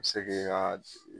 Bi se k'e ka